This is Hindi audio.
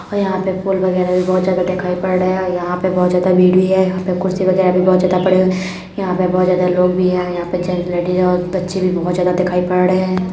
और यहाँ पे पोल वगैरा भी बोहोत ज्यादा दिखाई पड़ रहे हैं। अ यहाँ पे बोहोत ज्यादा भीड़ भी है। यहाँ पे कुर्सी वगैरा भी बोहोत ज्यादा पड़ी हुई। यहाँ पे बोहोत ज्यादा लोग भी हैं। यहाँ पे जेन्ट्स लेडीज हैं और बच्चे भी बोहोत ज्यादा दिखाई पड़ रहे हैं।